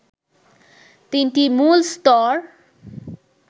তিনটি মূল স্তর